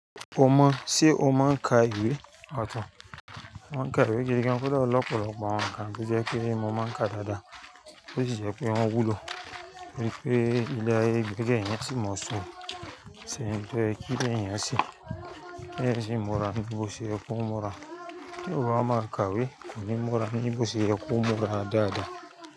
O mọ, sé o máa ń ka ìwé ọ̀tọ̀? Mo máa ń ka ìwé gẹ́gẹ́ bí ọkùnrin ọlọ́pọ̀lọpọ̀ àwọn nǹkan tó jẹ́ pé mo máa ń ka dáadáa, ó sì jẹ́ pé wọ́n wúlò, wípé ilé ayé gbigbe yẹn sì mọ̀ ọ́n sùn, ṣé nìkan kílé yẹn sì. Kí èèyàn sì múra ní bí ó ṣe yẹ kó múra. Nígbà tí òbí ọmọ máa ń ka ìwé, kò ní múra ní bí ó ṣe yẹ kó múra dáadáa.